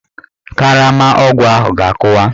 Karama ọgwụ ahụ ga-akụwa.